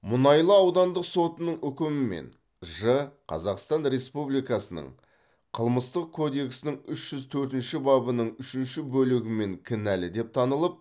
мұнайлы аудандық сотының үкімімен ж қазақстан республикасының қылмыстық кодексінің үш жүз төртінші бабының үшінші бөлігімен кінәлі деп танылып